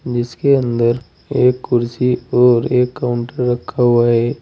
जिसके अंदर एक कुर्सी और एक काउंटर रखा हुआ है।